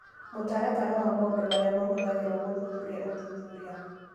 Mũtaratara wa maũndũ marĩa mahũthagĩrũo gũthuthuria ũthuthuria.